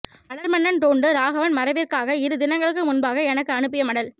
மலர்மன்னன் டோண்டு ராகவன் மறைவிற்காக இரு தினங்களுக்கு முன்பாக எனக்கு அனுப்பிய மடல்